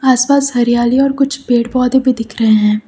आस पास हरियाली और कुछ पेड़ पौधे भी दिख रहे हैं।